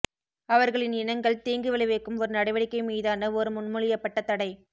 அவர்களின் இனங்கள் தீங்கு விளைவிக்கும் ஒரு நடவடிக்கை மீதான ஒரு முன்மொழியப்பட்ட தடை